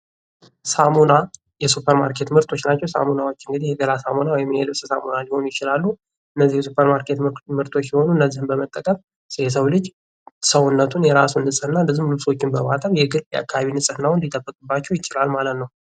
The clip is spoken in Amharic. ሳሙና የሱፐር ማርኬት ምርቶች ናቸው። እንግዲህ ሳሙና የገላ ሳሙና ወይም የልብስ ሳሙና ሊሆኑ ይችላሉ ።እነዚህ የሱፐር ማርኬት ምርቶች ሲሆኑ አንድ ሰው የራሱን ሰውነት ወይም ልብሶችን በማጠብ የግልና አካባቢውን ንፅህና ለመጠበቅ ይረዳል።